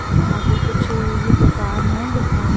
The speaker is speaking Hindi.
यहाँ पे कुछ ये दुकान है दुकान --